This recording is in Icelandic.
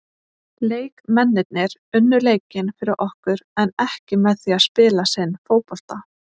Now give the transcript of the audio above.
Leikmennirnir unnu leikinn fyrir okkur en ekki með því að spila sinn fótbolta.